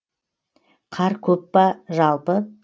қар көп па жалпы